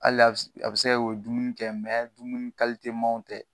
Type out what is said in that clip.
Hali a be se ka kɛ u be dumuni kɛ dumuni tɛ.